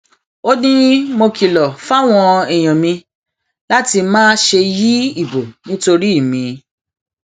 ó ní mo kìlọ fáwọn èèyàn mi láti má ṣe yí ìbò nítorí mi